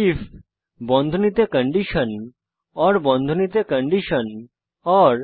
if বন্ধনীতে condition or বন্ধনীতে condition ওর